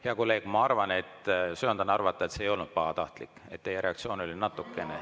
Hea kolleeg, ma söandan arvata, et see ei olnud pahatahtlik, ja teie reaktsioon oli natukene …